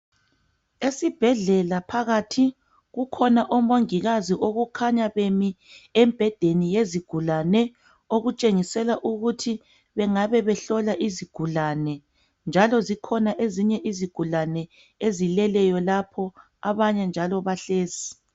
Esibhedlela phakathi kukhona omongikazi okukhanya bemi embhedeni yezigulane okutshengisela ukuthi bengabe behlola izigulane njalo zikhona ezinye izigulani ezileleyo lapho abanye njalo bahlezi.